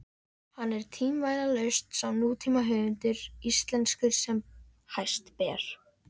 Hann er tvímælalaust sá nútímahöfundur íslenskur sem hæst ber.